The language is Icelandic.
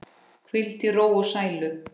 Hvíldu í ró og sælu.